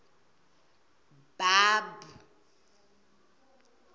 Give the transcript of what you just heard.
b a b